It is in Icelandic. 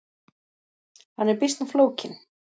Hann er býsna flókinn.